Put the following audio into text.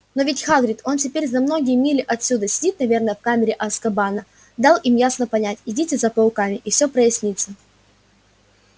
но ведь хагрид он теперь за многие мили отсюда сидит наверное в камере азкабана дал им ясно понять идите за пауками и все прояснится